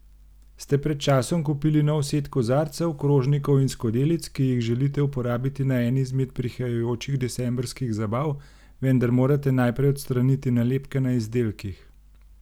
Ste pred časom kupili nov set kozarcev, krožnikov in skodelic, ki jih želite uporabiti na eni izmed prihajajočih decembrskih zabav, vendar morate najprej odstraniti nalepke na izdelkih?